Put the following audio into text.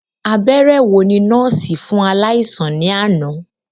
Abẹrẹ wo ni nọọsi fun alaisan ni ana?